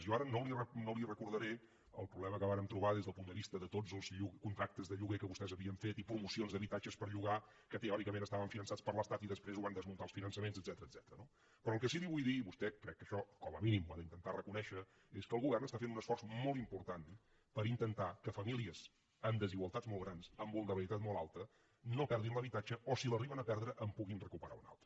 jo ara no li recordaré el problema que vàrem trobar des del punt de vista de tots els contractes de lloguer que vostès havien fet i promocions d’habitatges per llogar que teòricament estaven finançats per l’estat i després ho van desmuntar els finançaments etcètera no però el que sí que li vull dir vostè crec que això com a mínim ho ha d’intentar reconèixer és que el govern està fent un esforç molt important per intentar que famílies amb desigualtats molt grans amb vulnerabilitat molt alta no perdin l’habitatge o si l’arriben a perdre en puguin recuperar un altre